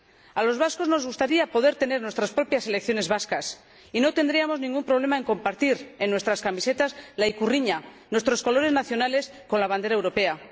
a los vascos nos gustaría tener nuestras propias selecciones vascas y no tendríamos ningún problema en compartir en nuestras camisetas la ikurriña —nuestros colores nacionales— con la bandera europea.